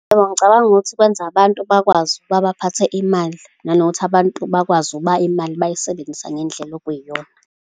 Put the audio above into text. Yebo, ngicabanga ukuthi kwenze abantu bakwazi ukuba baphathe imali, nanokuthi abantu bakwazi ukuba imali bayisebenzisa ngendlela okuyiyona.